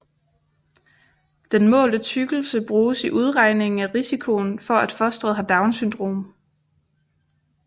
Den målte tykkelse bruges i udregningen af risikoen for at fosteret har Downs syndrom